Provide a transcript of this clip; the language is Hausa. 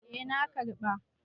Eh na karɓa.